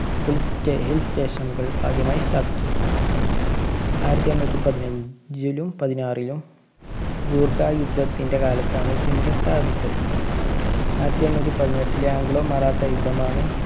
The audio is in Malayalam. hill~hill station കള്‍ ആദ്യമായി സ്ഥാപിച്ചത്. ആയിരത്തി എണ്ണൂറ്റി പതിന~ഞ്ചിലും പതിനാറിലും ഗൂര്‍ഖാ യുദ്ധത്തിന്‍ടെ കാലത്താണ് ഷിംല സ്ഥാപിച്ചത്. ആയിരത്തി എണ്ണൂറ്റി പതിനെട്ടിലെ ആംഗ്ലോ മറാത്ത യുദ്ധമാണ്